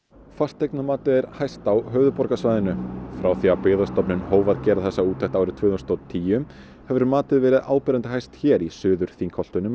fasteignamatið er hæst á höfuðborgarsvæðinu frá því að Byggðastofnun hóf að gera þessa úttekt árið tvö þúsund og tíu hefur matið verið áberandi hæst hér í Suður Þingholtunum í